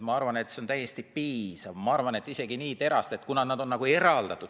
Ma arvan, et see on täiesti piisav ja, kuna nad on siis nagu eraldatud.